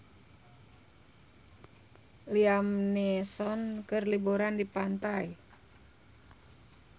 Liam Neeson keur liburan di pantai